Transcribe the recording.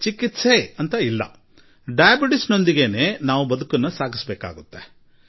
ಔಷಧಿ ಸೇವಿಸುತ್ತಲೇ ಅದರೊಂದಿಗೇ ಬದುಕಬೇಕಾಗುತ್ತದೆ